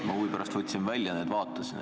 Ma huvi pärast võtsin välja ja vaatasin.